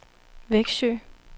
Växjö